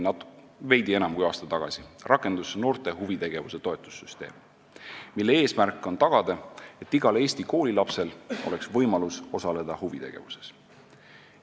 Veidi enam kui aasta tagasi rakendus noorte huvitegevuse toetussüsteem, mille eesmärk on tagada see, et igal Eesti koolilapsel oleks võimalus osaleda huvitegevuses.